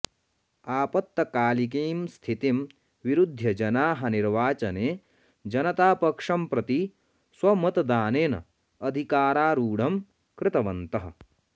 आपत्कालिकीं स्थितिं विरुध्य जनाः निर्वाचने जनतापक्षं प्रति स्वमतदानेन अधिकारारूढं कृतवन्तः